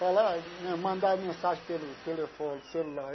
Falar, mandar mensagem pelo telefone, celular.